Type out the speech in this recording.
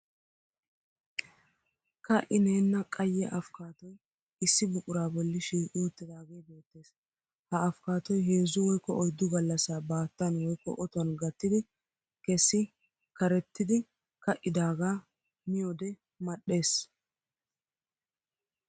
Ka'ineenna qayye afkaatoy issi buquraa bolli shiiqi uttidaagee beettes. Ha afkaatoy heezzu woykko oyddu gallassaa baattan woykko otuwan gattidi kesii karettidi ka'idaagaa miyode madhdhes.